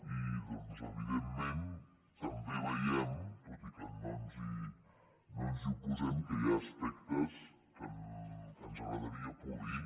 i doncs evidentment també veiem tot i que no ens hi oposem que hi ha aspectes que ens agradaria polir